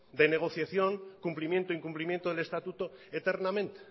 de negociación cumplimiento incumplimiento del estatuto eternamente